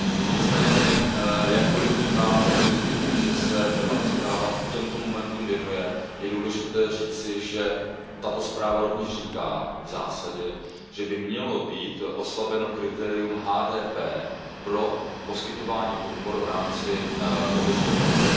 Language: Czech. Nicméně jakkoliv vnímám za pozitivní, že se tato zpráva těmto momentům věnuje, je důležité říci, že tato zpráva rovněž v zásadě říká, že by mělo být oslabeno kritérium HDP pro poskytování podpor v rámci kohezních fondů.